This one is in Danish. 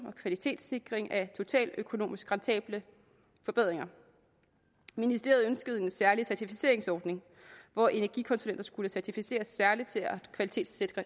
og kvalitetssikring af totaløkonomisk rentable forbedringer ministeriet ønskede en særlig certificeringsordning hvor energikonsulenter skulle certificeres særligt til at kvalitetssikre